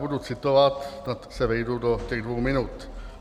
Budu citovat, snad se vejdu do těch dvou minut.